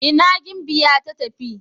ina gimbiya ta tafi?